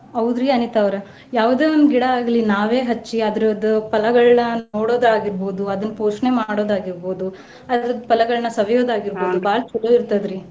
ಹೌದ್ರಿ ಅನಿತಾ ಅವ್ರ ಯಾವ್ದೆ ಒಂದ ಗಿಡಾ ಆಗ್ಲಿ ನಾವೇ ಹಚ್ಚಿ ಅದ್ರದ್ದ್ ಫಲಗಳನ್ನ ನೋಡೋದಾಗಿರ್ಬಹುದು, ಅದನ್ನ್ ಪೋಷಣೆ ಮಾಡೋದ್ ಆಗಿರ್ಬೋದು ಅದ್ರದ್ದ್ ಫಲಗಳನ್ನ ಸವಿಯೋದ್ ಆಗಿರ್ಬೋದು ಬಾಳ ಚೊಲೋ ಇರ್ತದ್ರಿ.